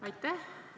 Aitäh!